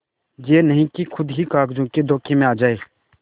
यह नहीं कि खुद ही कागजों के धोखे में आ जाए